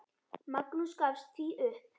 Magnús gafst því upp.